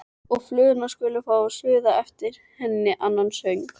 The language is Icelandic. Og flugurnar skulu fá að suða yfir henni annan söng.